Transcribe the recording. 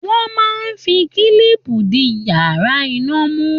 Wọ́n máa ń fi kílìpù di wáyà iná mú.